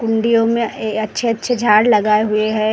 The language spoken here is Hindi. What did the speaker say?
हिंडियों में अच्छे-अच्छे झाड़ लगाए हुए हैं।